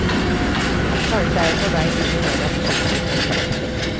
Kanskje er jeg på vei inn i mer absurde formuleringer.